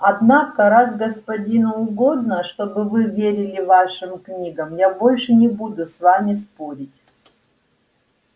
однако раз господину угодно чтобы вы верили вашим книгам я больше не буду с вами спорить